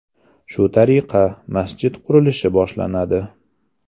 Shu tariqa, masjid qurilishi boshlanadi.